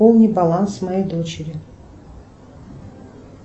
пополни баланс моей дочери